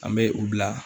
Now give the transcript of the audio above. An bɛ u bila